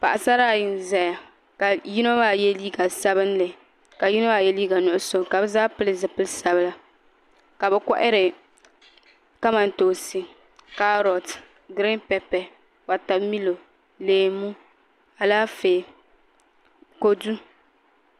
Paɣasara ayi n ʒɛya ka yino maa yɛ liiga sabinli ka yino maa yɛ liiga nuɣso ka bi zaa pili zipili sabila ka bi kohari kamantoosi kaarot giriin pɛpɛ wotamilo leemu Alaafee kodu